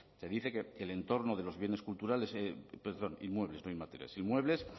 te dice que el entorno perdón inmuebles no inmateriales inmuebles